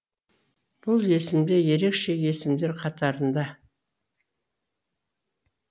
бұл есімде ерекше есімдер қатарында